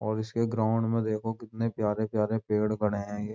और इसके ग्राउंड में देखो कितने प्यारे-प्यारे पेड़ खड़े हैं।